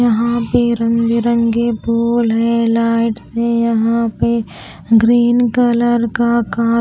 यहां पे रंग बिरंगे फूल है लाइट से यहां पे ग्रीन कलर का--